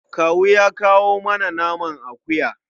Kawu ya kawo mana naman akuya.